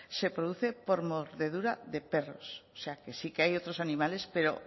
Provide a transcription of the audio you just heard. se produce por mordedura de perros o sea que sí que hay otros animales pero